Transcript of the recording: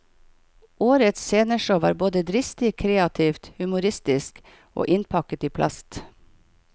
Årets sceneshow var både dristig, kreativt, humoristisk og innpakket i plast.